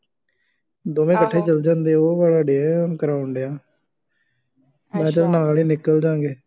ਦੋਵੇਂ ਇਕੱਠੇ ਚੱਲ ਜਾਂਦੇ ਆ, ਉਹ ਵਾਲਾ ਡੇ ਆ ਕਰਾਉਣ ਡਿਆ, ਮੈਂ ਕਿਹਾ ਚੱਲ ਨਾਲ ਹੀ ਨਿਕਲ ਜਾਂ ਗੇ